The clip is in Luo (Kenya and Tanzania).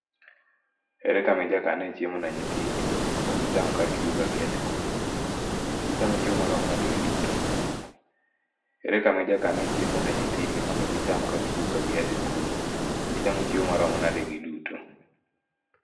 Ere kama ijakane chiemo ne nyithindi mondo gicham kagiduogo kagia sikul? Gichamo chiemo marom nade giduto? Ere kama ijakane chiemo ne nyithindi mondo gicham kagiduogo kagia sikul? Gichamo chiemo marom nade giduto?